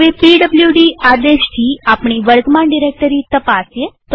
હવે પીડબ્લુડી આદેશથી આપણી વર્તમાન ડિરેક્ટરી તપાસીએ